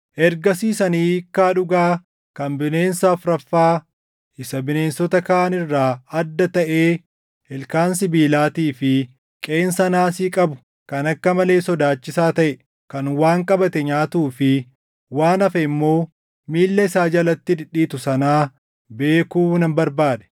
“Ergasiis ani hiikkaa dhugaa kan bineensa afuraffaa isa bineensota kaan irraa adda taʼee ilkaan sibiilaatii fi qeensa naasii qabu kan akka malee sodaachisaa taʼe kan waan qabate nyaatuu fi waan hafe immoo miilla isaa jalatti dhidhiitu sanaa beekuu nan barbaade.